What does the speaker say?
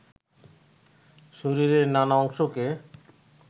শরীরের নানা অংশকে